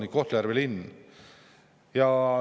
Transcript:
Veel on Kohtla-Järve linn.